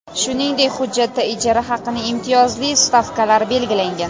Shuningdek, hujjatda ijara haqining imtiyozli stavkalari belgilangan.